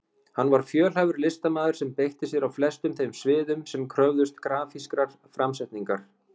Hann var fjölhæfur listamaður sem beitti sér á flestum þeim sviðum sem kröfðust grafískrar framsetningar.